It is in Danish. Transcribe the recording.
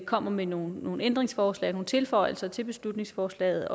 kommer med nogle nogle ændringsforslag og nogle tilføjelser til beslutningsforslaget